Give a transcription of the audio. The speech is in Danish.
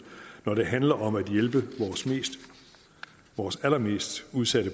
når det handler om at hjælpe vores allermest udsatte